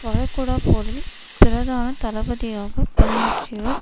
வளைகுடாப்போரில் பிரதான தளபதியாக பணியாற்றியவர்